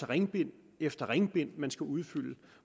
ringbind efter ringbind man skal udfylde